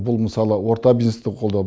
бұл мысалы орта бизнесті қолдау